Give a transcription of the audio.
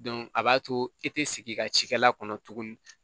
a b'a to i te sigi i ka cikɛla kɔnɔ tuguni